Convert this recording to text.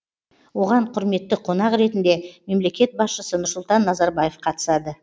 оған құрметті қонақ ретінде мемлекет басшысы нұрсұлтан назарбаев қатысады